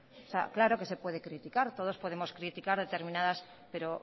claro que se puede criticar todos podemos criticar determinadas cosas pero